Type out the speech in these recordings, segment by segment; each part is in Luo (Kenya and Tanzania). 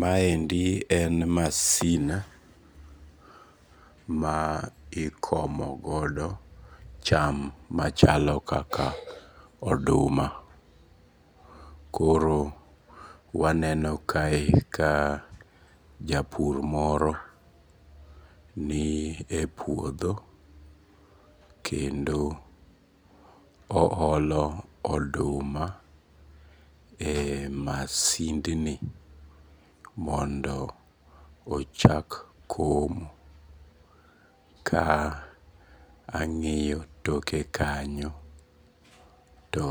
Ma endi en masin ma ikomo godo cham machalo kaka oduma. Koro waneno kae ka japur moro ni e puodho kendo oolo oduma e masindni mondo ochak komo. Ka ang'iyo toke kanyo to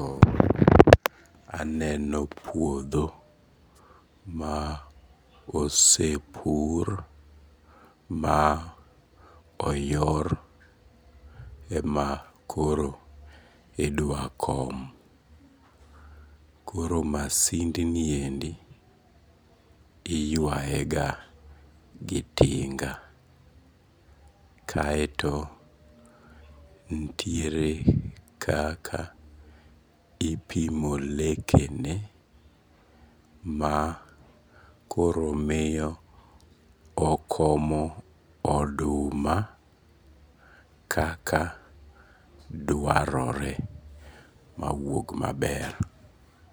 aneno puodho ma osepur ma oyor ema koro idwakom. Koro masindni endi iyuayega gi tinga kae to ntiere kaka ipimo lekene ma koro miyo okomo oduma kaka duarore mawuog maber.